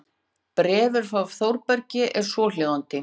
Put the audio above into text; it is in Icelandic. Bréfið frá Þórbergi er svohljóðandi